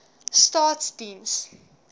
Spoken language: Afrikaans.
staatsdiens